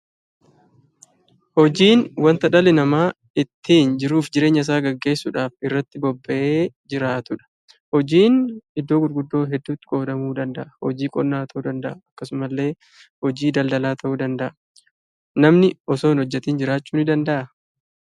Hojiin waanta dhalli namaa ittiin jiruuf jireenya isaa gaggeessuudhaaf irratti bobba'ee jiraatudha. Hojiin iddoo gurguddoo hedduutti qoodamuu danda'a. Hojii qonnaa ta'uu danda'a. akkasuma illee hojii daldalaa ta'uu danda'a. Namni osoo hin hojjetiin jiraachuu ni danda'aa?